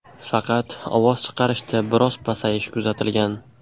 Faqat ovoz chiqarishda biroz pasayish kuzatilgan.